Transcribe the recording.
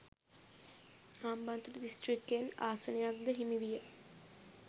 හම්බන්තොට දිස්ත්‍රික්කයෙන් ආසනක් ද හිමිවිය